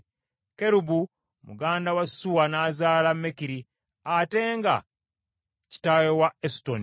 Kerubu muganda wa Suwa, n’azaala Mekiri, ate nga kitaawe wa Esutoni.